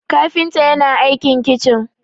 kafinta yana aikin kicin